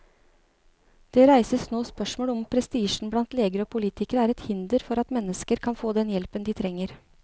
Det reises nå spørsmål om prestisjen blant leger og politikere er et hinder for at mennesker kan få den hjelpen de trenger.